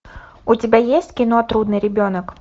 у тебя есть кино трудный ребенок